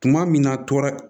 Tuma min na tora